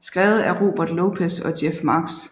skrevet af Robert Lopez og Jeff Marx